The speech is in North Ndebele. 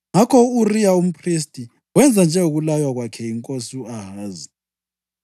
Ngakho u-Uriya umphristi wenza njengokulaywa kwakhe yinkosi u-Ahazi.